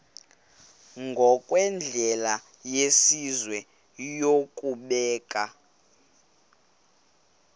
ngokwendlela yesizwe yokubeka